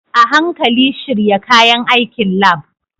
A hankali shirya kayan aikin lab.